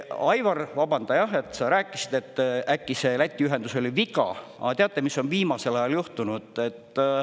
Aivar, vabanda, jah, et sa rääkisid, et äkki see Läti ühendus oli viga, aga teate, mis on viimasel ajal juhtunud?